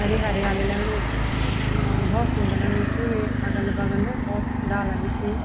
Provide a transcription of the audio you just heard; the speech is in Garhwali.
हरी हरियाली लगणी च और भोत सुन्दर लगणु च वेक अगल बगल भोत डाला भी छी।